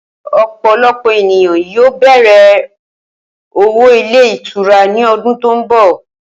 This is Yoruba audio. O̩pò̩lo̩pò̩ ènìyàn ni yóò bè̩rè̩ òwò ilé ìtura ní o̩dún tó ń bò̩